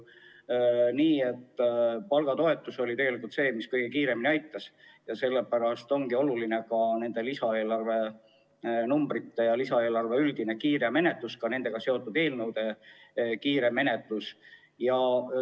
Palgatoetus oli see, mis kõige kiiremini aitas, ning sellepärast ongi oluline lisaeelarve ja ka sellega seotud eelnõude kiire menetlemine.